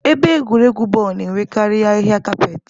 Ebe egwuregwu bọọlụ na-enwekarị ahịhịa kapet.